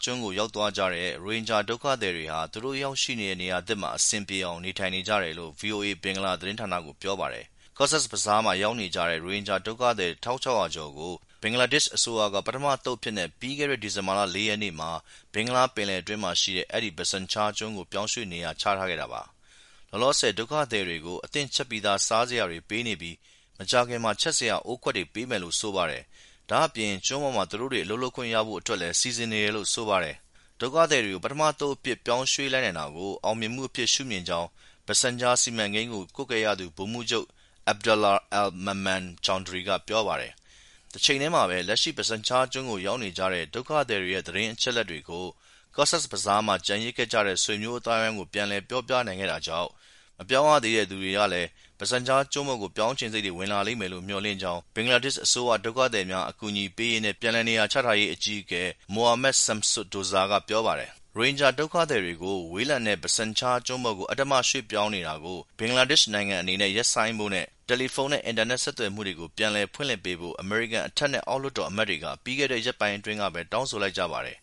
ကျွန်းကို ရောက်သွားကြတဲ့ ရိုဟင်ဂျာဒုက္ခသည်တွေဟာ သူတို့ရောက်ရှိတဲ့ နေရာသစ်မှာ အဆင်ပြေအောင် နေထိုင်နေကြတယ်လို့ ဗွီအိုအေ ဘင်္ဂလားဌာနကို ပြောပါတယ်။ Cox’s Bazar မှာ ရောက်နေကြတဲ့ ရိုဟင်ဂျာဒုက္ခသည် ၁,၆၀၀ ကျော်ကို ဘင်္ဂလားဒေ့ရှ် အစိုးရက ပထမအသုတ်အဖြစ်နဲ့ ပြီးခဲ့တဲ့ ဒီဇင်ဘာ ၄ ရက်နေ့မှာ ဘင်္ဂလားပယ်လယ်အတွင်းမှာရှိတဲ့ အဲဒီ Bhasan Char ကျွန်းကို ပြောင်းရွှေ့ နေရာချထားခဲ့တာပါ။ လောလောဆယ်တော့ ဒုက္ခသည်တွေကို အသင့်ချက်ပြီးသား စားစရာတွေ ပေးနေပြီး မကြာခင်မှာ ချက်စရာ အိုးခွက်တွေ ပေးမယ်လို့ ဆိုပါတယ်။ ဒါ့အပြင် ကျွန်းပေါ်မှာ သူတို့တွေ အလုပ်လုပ်ခွင့်ရဖို့ အတွက်လည်း စီစဉ်နေတယ်လို့ ဆိုပါတယ်။ ဒုက္ခသည်တွေကို ပထမအသုတ်အဖြစ် ပြောင်းရွှေ့လိုက်နိုင်တာကို အောင်မြင်မှုအဖြစ် ရှုမြင်ကြောင်း Bhasan Char စီမံကိန်းကို ကြီးကြပ် ကွပ်ကဲရသူ ဗိုလ်မှူးချုပ် Abdullah Al Mamun Chawdhury က ပြောပါတယ်။ တချိန်ထဲမှာဘဲ လက်ရှိ Bhasan Char ကျွန်းကို ရောက်နေကြတဲ့ ဒုက္ခသည်တွေရဲ့ သတင်းအချက်အလက်တွေကို Cox’s Bazar မှာ ကျန်ခဲ့ကြတဲ့ ဆွေမျိုးအသိုင်းဝိုင်းကို ပြန်ပြောပြနိုင်ခဲ့တာကြောင်း မပြောင်းရသေးတဲ့သူတွေလည်း Bhasna Cher ကျွန်းကို ပြောင်းချင်စိတ် ဝင်လာလိမ့်မယ်လို့ မျှော်လင့်ကြောင်း ဘင်္ဂလားဒေ့ရှ်အစိုးရ ဒုက္ခသည်များ အကူအညီပေးရေးနဲ့ ပြန်လည်နေရာချထားရေးဌာန အကြီးအကဲ Mohammad Shamsuddoza ကလည်း ပြောပါတယ်။ ရိုဟင်ဂျာ ဒုက္ခသည်တွေကို ဝေးလံတဲ့ Bhasan Char ကျွန်းပေါ်အဓမ္မ ရွှေ့ပြောင်းနေတာကို ဘင်္ဂလားဒေ့ရှ်နိုင်ငံ အနေနဲ့ ရပ်ဆိုင်းဖို့နဲ့ တယ်လီဖုန်းနဲ့ အင်တာနက်ဆက်သွယ်မှုတွေကို ပြန်လည် ဖွင့်ပေးဖို့ အမေရိကန် အထက်နဲ့ အောက်လွှတ်တော် အမတ်တွေက ပြီးခဲ့တဲ့ ရက်ပိုင်း အတွင်းမှာဘဲ တောင်းဆိုလိုက်ကြပါတယ်